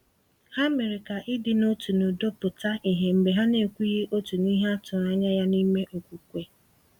Ha mere ka ịdị n’otu na udo pụta ìhè mgbe ha na-ekwughị otu n’ihe a tụrụ anya ya n’ime okwukwe.